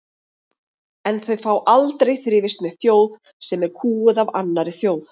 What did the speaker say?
En þau fá aldrei þrifist með þjóð sem er kúguð af annarri þjóð.